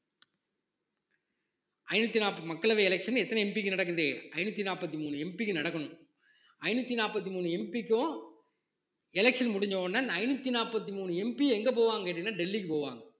ஐந்நூத்தி நாற்பது மக்களவை election எத்தனை MP க்கு நடக்குது ஐந்நூத்தி நாற்பத்தி மூணு MP க்கு நடக்கணும் ஐந்நூத்தி நாற்பத்தி மூணு MP க்கும் election முடிஞ்ச உடனே அந்த ஐந்நூத்தி நாற்பத்தி மூணு MP எங்க போவாங்கன்னு கேட்டீங்கன்னா டெல்லிக்கு போவாங்க